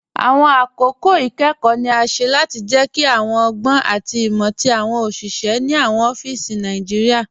Awọn akókò ikẹ́kọ̀ ni a ṣẹ́ láti jẹ́kí awọn ọ̀gbọn àti imọ̀ tí awọn oṣiṣẹ̀ ni awọn ọfísí Naijiria